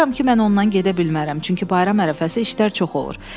Baxıram ki, mən ondan gedə bilmərəm, çünki bayram ərəfəsi işlər çox olur.